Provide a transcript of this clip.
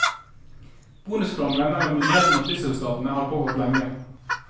Bonuskrangelen mellom myndighetene og flyselskapene har pågått lenge.